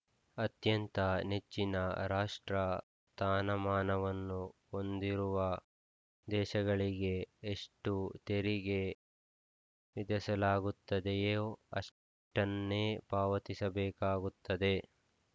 ಅತ್ಯಂತ ನೆಚ್ಚಿನ ರಾಷ್ಟ್ರ ಥಾನಮಾನವನ್ನು ಹೊಂದಿರುವ ದೇಶಗಳಿಗೆ ಎಷ್ಟುತೆರಿಗೆ ವಿಧಿಸಲಾಗುತ್ತದೆಯೋ ಅಷ್ಟನ್ನೇ ಪಾವತಿಸಬೇಕಾಗುತ್ತದೆ